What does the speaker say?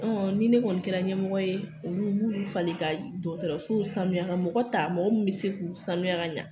Ɔn ni ne kɔni kɛra ɲɛmɔgɔ ye olu, n b'olu falen ka dɔgɔtɔrɔso sanuya ka mɔgɔ ta mɔgɔ mun bi se k'u sanuya ka ɲɛ.